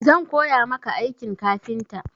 Zan koya maka aikin kafinta.